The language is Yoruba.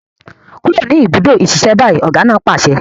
Kúrò ní ìbùdó ìṣiṣẹ́ báyìí! ọ̀gá náà pàṣẹ.